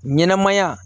Ɲɛnɛmaya